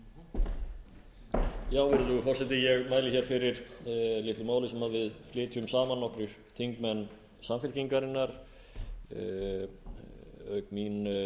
ég mæli hér fyrir litlu máli sem við flytjum saman nokkrir þingmenn samfylkingarinnar auk mín þeir